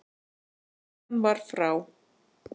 Konan var frá